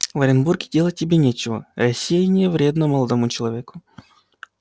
в оренбурге делать тебе нечего рассеяние вредно молодому человеку